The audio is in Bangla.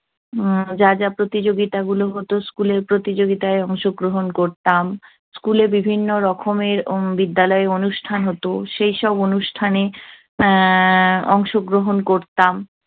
উম যা যা প্রতিযোগিতাগুলো হত, school এর প্রতিযোগিতায় অংশগ্রহন করতাম। school এ বিভিন্নরকমের বিদ্যালয়ে অনুষ্ঠান হত, সেসব অনুষ্ঠানে আহ অংশগ্রহন করতাম।